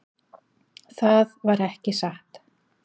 Það var ekki satt.